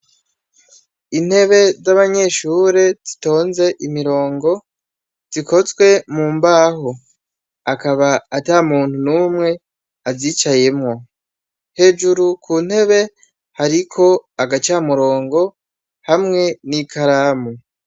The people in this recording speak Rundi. Intebe z'abanyeshure zitonze imirongo, zikozwe mumbaho. Hakaba atamuntu numwe azicayemwo. Hejuru kuntebe, hariko agacamurongo hamwe n'ikaramu.